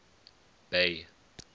bay